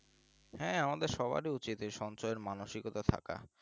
হ্যাঁ আমাদের সবারই উচিত এই সঞ্জয়ের মানসিকতা থাকা